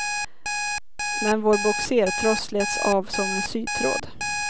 Men vår bogsertross slets av som en sytråd.